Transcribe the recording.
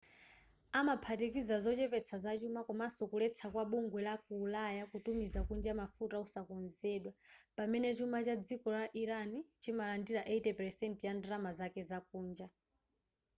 amaphatikiza zochepetsa zachuma komanso kuletsa kwa bugwe la ku ulaya kutumiza kunja mafuta osakonzedwa pamene chuma cha dziko la iran chimalandira 80% ya ndalama zake zakunja